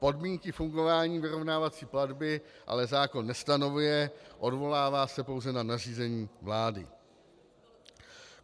Podmínky fungování vyrovnávací platby ale zákon nestanoví, odvolává se pouze na nařízení vlády.